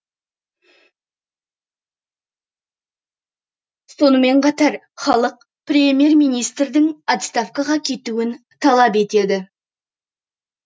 сонымен қатар халық премьер министрдің отставкаға кетуін талап етеді